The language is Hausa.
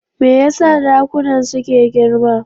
Me yasa dakunan suke girma?